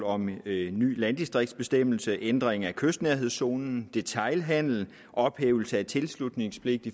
om en ny landdistriktsbestemmelse ændring af kystnærhedszonen detailhandelen ophævelse af tilslutningspligt